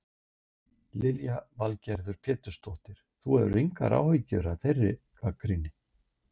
Lillý Valgerður Pétursdóttir: Þú hefur engar áhyggjur af þeirri gagnrýni?